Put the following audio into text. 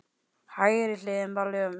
Hægri hliðin var lömuð.